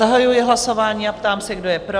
Zahajuji hlasování a ptám se, kdo je pro?